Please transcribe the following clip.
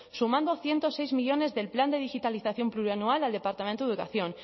sumando ciento seis millónes del plan de digitalización plurianual al departamento de educación